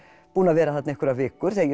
búin að vera þarna einhverjar vikur þegar ég